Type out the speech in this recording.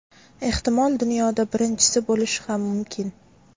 Ehtimol dunyoda birinchisi bo‘lishi ham mumkin.